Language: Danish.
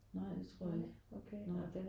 Nej det tror jeg ikke nej